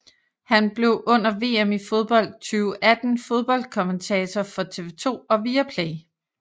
Han blev under VM i fodbold 2018 fodboldkommentator for TV2 og Viaplay